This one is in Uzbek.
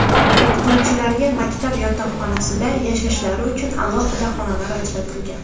O‘qituvchilarga maktab yotoqxonasida yashashlari uchun alohida xonalar ajratilgan.